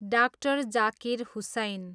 डा. जाकिर हुसैन